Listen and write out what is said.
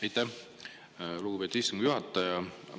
Aitäh, lugupeetud istungi juhataja!